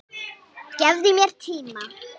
Gefðu mér tíma.